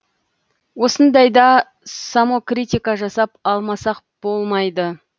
осындайда самокритика жасап алмасақ болмайды